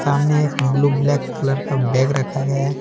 सामने एक blue black colour का बैग रखा गया है।